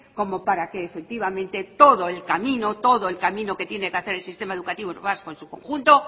como para que efectivamente todo el camino todo el camino que tiene que hacer el sistema educativo vasco en su conjunto